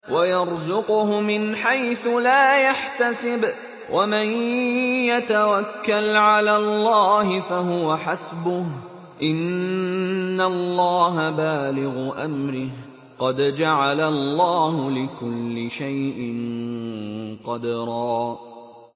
وَيَرْزُقْهُ مِنْ حَيْثُ لَا يَحْتَسِبُ ۚ وَمَن يَتَوَكَّلْ عَلَى اللَّهِ فَهُوَ حَسْبُهُ ۚ إِنَّ اللَّهَ بَالِغُ أَمْرِهِ ۚ قَدْ جَعَلَ اللَّهُ لِكُلِّ شَيْءٍ قَدْرًا